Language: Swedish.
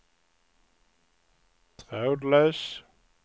trådlös